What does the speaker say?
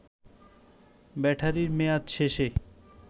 ব্যাটারির মেয়াদ শেষে